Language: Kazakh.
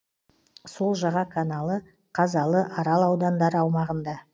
сол жаға каналы қазалы арал аудандары аумағында